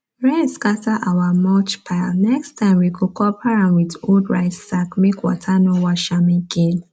rain scatter our mulch pilenext time we go cover am with old rice sack make water no wash am again